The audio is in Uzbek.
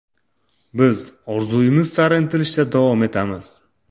Biz orzuyimiz sari intilishda davom etamiz.